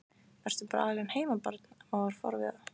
Ertu bara alein heima barn? amma var forviða.